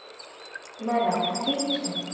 બરાબર ઠીક છે.